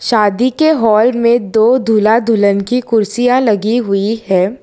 शादी के हॉल मे दो दूल्हा दुल्हन की कुर्सियां लगी हुई है।